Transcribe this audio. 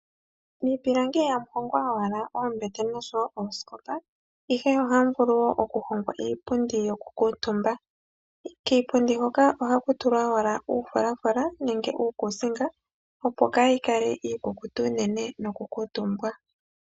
Miipilangi ihamu hongwa oowala oombete noshowo oosikopa, ihe ohamu vulu wo oku hongwa iipundi yokukuutumba. Kiipundi hoka ohaku tulwa owala uufulafula nenge uukusiinga opo kayi kale iikukutu unene nokukuutumbwa.